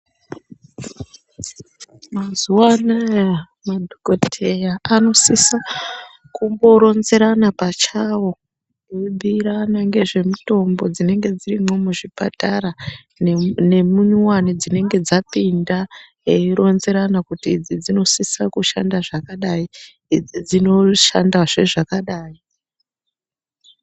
Mazuva anaya madhogodheya anosisa kumboronzerana pachawo eibhuyirana ngezvemitombo dzinenge dzirimo muzvipatara neminyowani dzinenge dzapinda veironzerana kuti idzi dzinosisa kushanda zvakadai, idzi dzinoshandazve zvakadai.